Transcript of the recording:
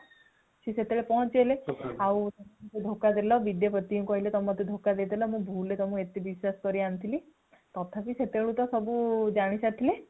ସିଏ ସେତେବେଳେ ପହଂଚି ଗଲେ ଆଉ ଧୋକା ଦେଲ ବିଦ୍ୟାପତିଙ୍କୁ କହିଲେ ତୁମେ ମତେ ଧୋକା ଦେଲ ନ ଭୁଲ ରେ ମୁ ତୁମକୁ ଏତେ ବିଶ୍ୱାସ କରି ଆଣିଥିଲି ତଥାପି ସେତେ ବେଳକୁ ତ ସବୁ ଜାଣି ସାରିଥିଲେ